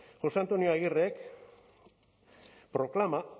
josé antonio aguirrek proclama